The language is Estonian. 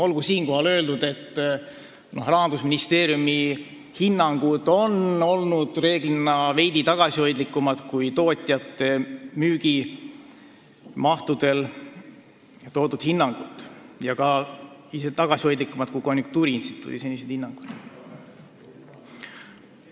Olgu siinkohal öeldud, et Rahandusministeeriumi hinnangud on reeglina olnud veidi tagasihoidlikumad kui tootjate müügimahtude hinnangud, isegi tagasihoidlikumad kui konjunktuuriinstituudi senised hinnangud.